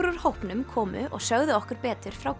úr hópnum komu og sögðu okkur betur frá